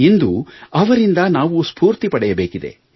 ಇಂದು ಅವರಿಂದ ನಾವು ಸ್ಪೂರ್ತಿ ಪಡೆಯಬೇಕಿದೆ